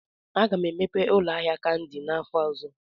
Aga m emepe ụlọ ahịa kandi n'afọ ọzọ